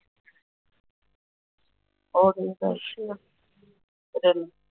ਅੱਛਾ